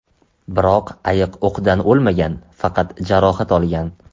Biroq ayiq o‘qdan o‘lmagan, faqat jarohat olgan.